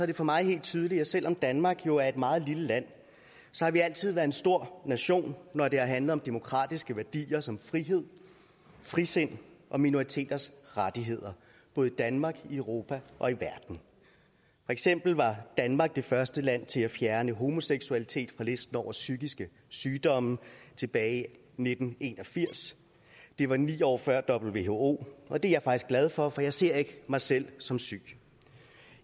det for mig helt tydeligt at selv om danmark jo er et meget lille land har vi altid været en stor nation når det har handlet om demokratiske værdier som frihed frisind og minoriteters rettigheder både i danmark i europa og i verden for eksempel var danmark det første land til at fjerne homoseksualitet på listen over psykiske sygdomme tilbage i nitten en og firs det var ni år før who og det er jeg faktisk glad for for jeg ser ikke mig selv som syg